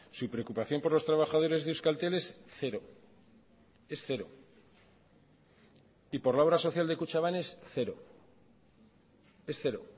su preocupación por los trabajadores de euskaltel es cero es cero y por la obra social de kutxabank es cero es cero